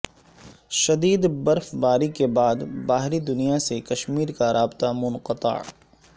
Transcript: شدید برف باری کے بعد باہری دنیا سے کشمیر کا رابطہ منقطع